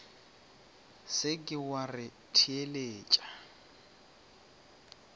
se ke wa re theletša